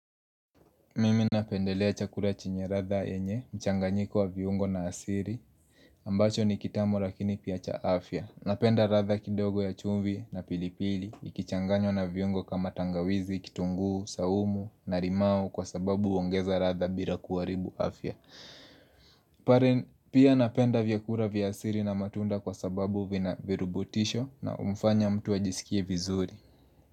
Mimi napendelea chakura chenye radha yenye, mchanganyiko wa viungo na asiri, ambacho ni kitamu lakini pia cha afya. Napenda radha kidogo ya chumvi na pilipili, ikichanganywa na viungo kama tangawizi, kitunguu, saumu, na rimau kwa sababu uongeza radha bila kuaribu afya. Pia napenda vyakura vya asiri na matunda kwa sababu vina virubutisho na humfanya mtu ajisikie vizuri.